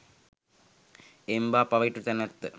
එම්බා පවිටු තැනැත්ත